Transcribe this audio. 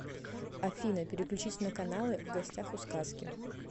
афина переключить на каналы в гостях у сказки